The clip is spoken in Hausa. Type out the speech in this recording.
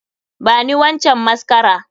Bani wancan mascara!